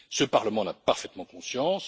Ce Parlement en a parfaitement conscience.